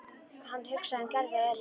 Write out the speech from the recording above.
Hann hugsaði um Gerði og Elísu.